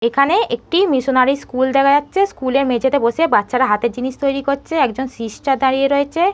এখানে একটি missionary school দেখা যাচ্ছে। স্কুল -এর মেঝে তে বসে বাচ্চারা হাতের জিনিস তৈরী করছে একজন সিস্টার দাঁড়িয়ে রয়েছে।